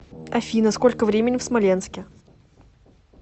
афина сколько времени в смоленске